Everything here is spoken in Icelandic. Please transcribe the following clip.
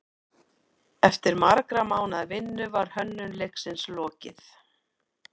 Eftir margra mánaða vinnu var hönnun leiksins lokið.